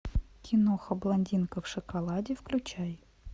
киноха блондинка в шоколаде включай